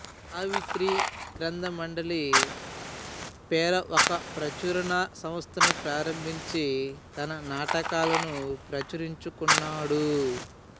సావిత్రి గంథ్రమండలి పేర ఒక ప్రచురణ సంస్థను ప్రారంభించి తన నాటకాలను ప్రచురించుకున్నాడు